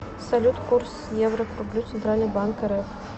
салют курс евро к рублю центральный банк рф